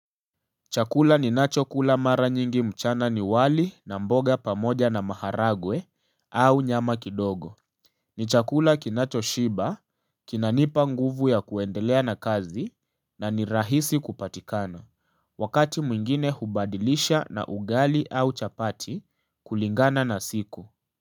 Chakula ninacho kula mara nyingi mchana. Ni wali na mboga pamoja na maharagwe au nyama kidogo. Ni chakula kinachoshiba, kinanipa nguvu ya kuendelea na kazi. Na ni rahisi kupatikana. Wakati mwingine hubadilisha na ugali au chapati kulingana na siku.